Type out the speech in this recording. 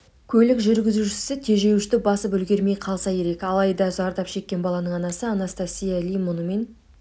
көлік жүргізушісі тежеуішті басып үлгермей қалса ерек алайда зардап шеккен баланың анасы анастасия ли мұнымен